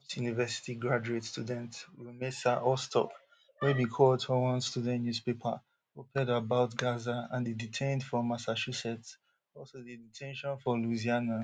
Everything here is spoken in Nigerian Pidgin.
tufts university graduate student rumeysa ozturk wey bin coauthor one student newspaper oped about gaza and dey detained for massachusetts also dey de ten tion for louisiana